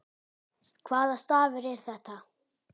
Hvaða stafur er þetta?